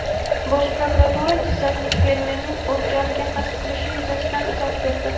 Bosh prokuratura jizzaxlik fermerning o‘z joniga qasd qilishi yuzasidan izoh berdi.